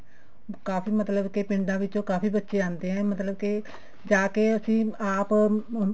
ਕਾਫੀ ਮਤਲਬ ਕੇ ਪਿੰਡਾਂ ਵਿਚੋਂ ਕਾਫੀ ਬੱਚੇ ਆਉਂਦੇ ਨੇ ਮਤਲਬ ਕੇ ਤਾਂਕਿ ਅਸੀਂ ਆਪ